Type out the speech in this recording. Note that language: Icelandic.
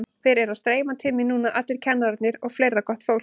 Þeir eru að streyma til mín núna allir kennararnir og fleira gott fólk.